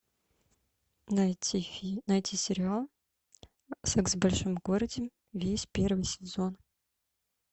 найти сериал секс в большом городе весь первый сезон